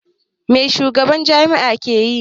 Mai shugaban jami'a ke yi?